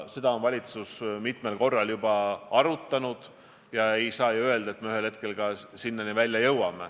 Seda on valitsus mitmel korral siiski arutanud ja ei saa öelda, et me ühel hetkel sinnani välja ei jõua.